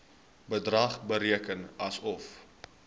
bedrag bereken asof